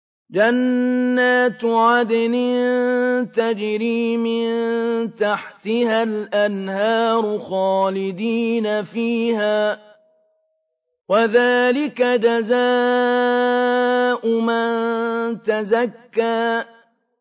جَنَّاتُ عَدْنٍ تَجْرِي مِن تَحْتِهَا الْأَنْهَارُ خَالِدِينَ فِيهَا ۚ وَذَٰلِكَ جَزَاءُ مَن تَزَكَّىٰ